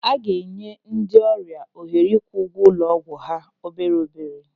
A ga-enye ndị ọrịa ohere ịkwụ ụgwọ ụlọ ọgwụ ha obere obere.